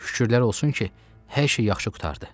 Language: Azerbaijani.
Şükürlər olsun ki, hər şey yaxşı qurtardı.